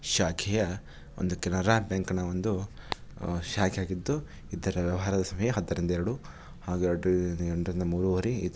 ಶಾಖೆಯ ಒಂದು ಕೆನರಾ ಬ್ಯಾಂಕ್ ನ ಒಂದು ಅಹ್ ಶಾಖೆಯಾಗಿದ್ದು. ಇದರ ವ್ಯವಹಾರದ ಸಮಯ ಹತ್ತರಿಂದ ಎರಡು ಹಾಗೂ --